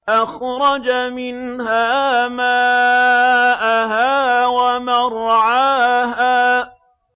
أَخْرَجَ مِنْهَا مَاءَهَا وَمَرْعَاهَا